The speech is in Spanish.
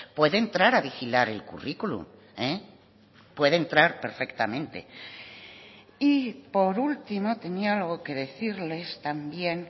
puede entrar a vigilar el currículum puede entrar perfectamente y por último tenía algo que decirles también